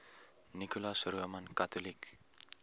nicholas roman catholic